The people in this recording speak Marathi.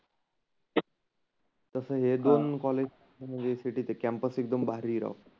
तसं हे दोन कॉलेज म्हणजे सिटीत हे. कॅम्पस एकदम भारी आहे राव.